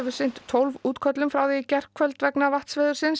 sinnt tólf útköllum frá því í gærkvöld vegna